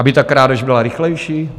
Aby ta krádež byla rychlejší?